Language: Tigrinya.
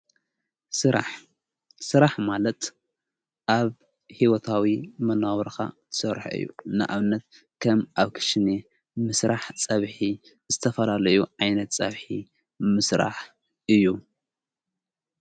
ስራሕ ማለት ኣብ ሕይወታዊ መነባብሮካ ትሰርሖ እዩ ንኣብነት ከም ኣብ ክሽነ ምሥራሕ ጸብኂ ዝተፈላለዩ ዓይነት ጸብሒ ምስራሕ እዩ።